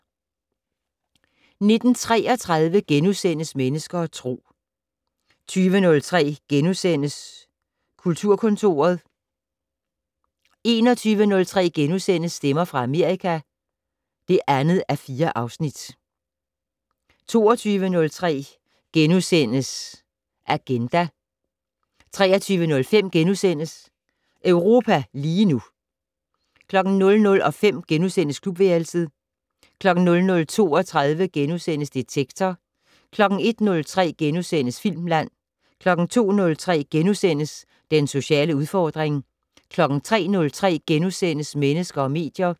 19:33: Mennesker og Tro * 20:03: Kulturkontoret * 21:03: Stemmer fra Amerika (2:4)* 22:03: Agenda * 23:05: Europa lige nu * 00:05: Klubværelset * 00:32: Detektor * 01:03: Filmland * 02:03: Den sociale udfordring * 03:03: Mennesker og medier *